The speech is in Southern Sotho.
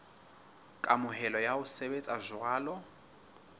kamohelo ya ho sebetsa jwalo